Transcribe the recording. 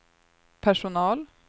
personal